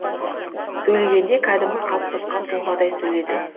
сөйлегенде кәдімгі қалыптасқан тұлғадай сөйледі